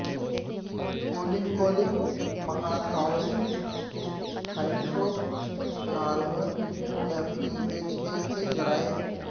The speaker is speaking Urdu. پولینکولک مہاکاوی ہائیڈرو کاربون یا پی ایچ اے کے ذرائع